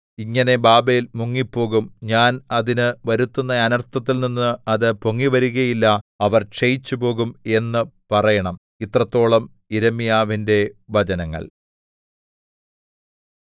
ഇങ്ങനെ ബാബേൽ മുങ്ങിപ്പോകും ഞാൻ അതിന് വരുത്തുന്ന അനർത്ഥത്തിൽനിന്ന് അത് പൊങ്ങിവരുകയില്ല അവർ ക്ഷയിച്ചുപോകും എന്ന് പറയണം ഇത്രത്തോളം യിരെമ്യാവിന്റെ വചനങ്ങൾ